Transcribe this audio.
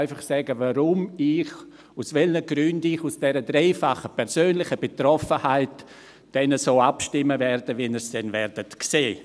Ich will einfach sagen, aus welchen Gründen ich aufgrund dieser dreifachen persönlichen Betroffenheit dann so abstimmen werde, wie Sie es dann sehen werden.